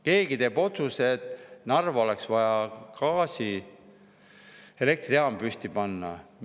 Keegi teeb otsuse, et Narva oleks vaja gaasielektrijaam püsti panna.